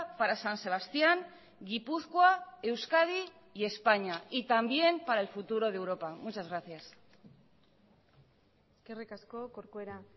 para san sebastián gipuzkoa euskadi y españa y también para el futuro de europa muchas gracias eskerrik asko corcuera